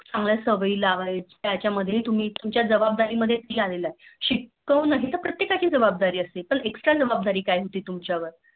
चांगली सवयी लावायची त्याच्या यामध्ये तुमच्या जबाबदारी मध्ये ती आलेले. शिकावं हि तगर प्रतीकांची जबाबदारी असते पण Extra जबाबदारी काय होती तुमच्यावर